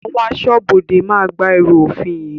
Àwọn aṣọ́bodè máa gba ẹrú òfin yìí